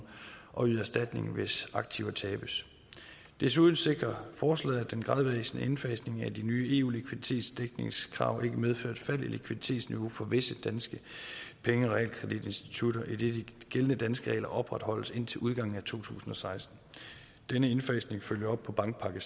og yde erstatning hvis aktiver tabes desuden sikrer forslaget at den gradvise indfasning af de nye eu likviditetsdækningskrav ikke medfører et fald i likviditetsniveau for visse danske penge og realkreditinstitutter idet de gældende danske regler opretholdes indtil udgangen af to tusind og seksten denne indfasning følger op på bankpakke